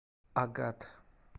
агат